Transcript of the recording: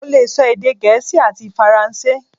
Mo lè sọ èdè gẹ̀ẹ́sì ati faransé